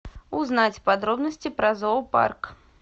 узнать подробности про зоопарк